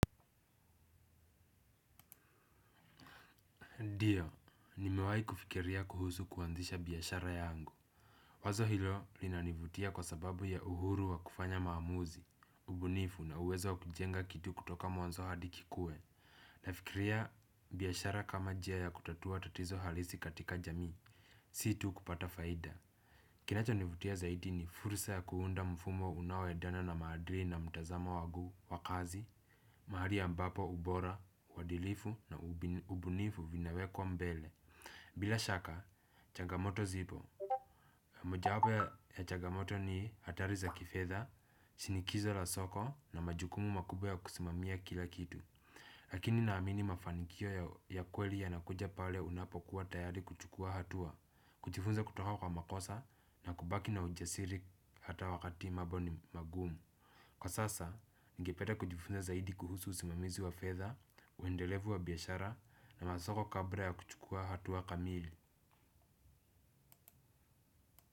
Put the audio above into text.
Ndio, nimewai kufikiria kuhusu kuanzisha biashara yangu. Wazo hilo linanivutia kwa sababu ya uhuru wa kufanya maamuzi, ubunifu na uwezo kujenga kitu kutoka mwanzo hadi kikue. Nafikiria biashara kama njia ya kutatua tatizo halisi katika jamii, si tu kupata faida. Kinachonivutia zaidi ni fursa ya kuunda mfumo unaoendana na madili na mtazamo wangu wa kazi, mahali ambapo ubora, uadilifu na ubunifu vinawekwa mbele. Bila shaka, chagamoto zipo. Mojawapo ya chagamoto ni hatari za kifedha, shinikizo la soko na majukumu makubwa ya kusimamia kila kitu. Lakini naamini mafanikio ya kweli yanakuja pale unapokuwa tayari kuchukua hatua. Kujifunza kutoka kwa makosa na kubaki na ujasiri hata wakati mambo ni magumu. Kwa sasa, ningependa kujifunza zaidi kuhusu usimamizi wa fedha, uendelevu wa biashara na masoko kabla ya kuchukua hatua kamili.